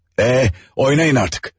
E, oynayın artık!